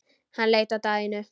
Hann leit á Daðínu.